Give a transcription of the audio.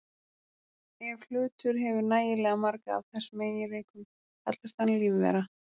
Ef hlutur hefur nægilega marga af þessum eiginleikum kallast hann lífvera.